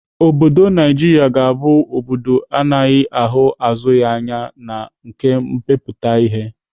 Obodo Naijiria ga-abụ obodo ana agaghị ahụ azụ ya anya na nkà mmepụta ihe